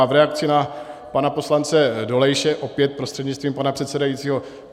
A v reakci na pana poslance Dolejše, opět prostřednictvím pana předsedajícího.